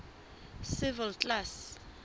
civil class